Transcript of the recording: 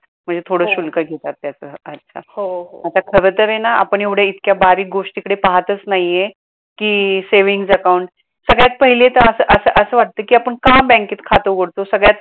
म्हणजे थोडं शुल्क घेतात त्याच अच्छा आता खर तर आहे ना आपण एवढ्या इतक्या बारीक गोष्टीकडे पहातच नाही आहे कि savings account सगळ्यात पहिले तर अस अस अस वाटते कि आपण का बॅंकेत खात उघडतो? सगळ्यात